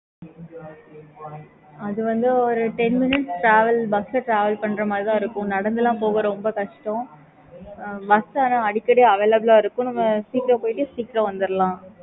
okay mam